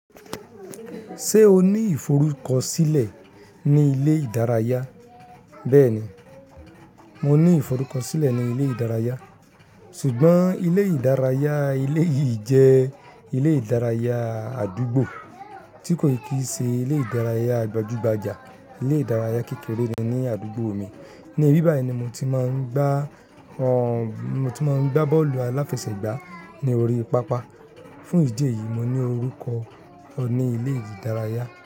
Ṣé o ní ìforúkọ sílẹ̀ ní ilé ìdárayá? Bẹ́ẹ̀ni, mo ní ìforúkọ sílẹ̀ ní ilé ìdárayá, ṣùgbọ́n ilé ìdárayá eléyí jẹ́ ilé ìdárayá àdúgbò tí kò kì í ṣe ilé ìdárayá gbajúgbajà. Ilé ìdárayá kékeré ni ní àdúgbò mi, ní bíbà yi ní mo ti máa ń gbá bọ́ọ̀lù aláfẹsẹ̀gbá ní orí pápá. Fún ìdí èyí, mo ní orúkọ ní ilé ìdárayá.